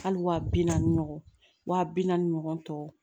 Hali wa bi naani ɲɔgɔn waa bi naani ɲɔgɔn tɔ